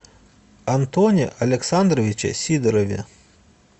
антоне александровиче сидорове